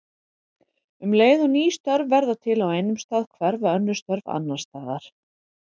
Um leið og ný störf verða til á einum stað hverfa önnur störf annars staðar.